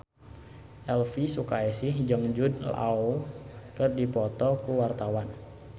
Elvy Sukaesih jeung Jude Law keur dipoto ku wartawan